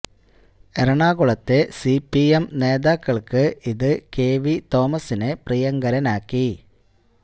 എറണാകുളത്തെ C P M നേതാക്കൾക്ക് ഇത് കെ വി തോമസിനെ പ്രിയങ്കരനാക്കി